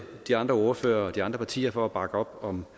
de andre ordførere og de andre partier for at bakke op om